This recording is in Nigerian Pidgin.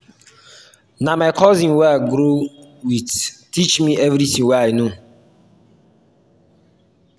na my cousin wey i grow wit teach me everytin wey i know.